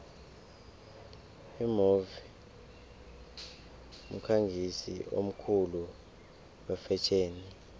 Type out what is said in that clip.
imove mkhangisi omkhulu wefetjheni